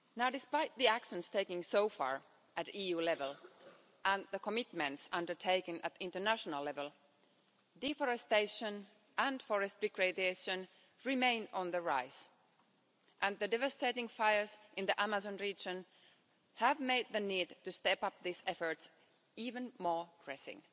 Despite the actions taken so far at EU level and the commitments undertaken at international level, deforestation and forest degradation remain on the rise. The devastating fires in the Amazon region have made the need to step up this effort even more pressing.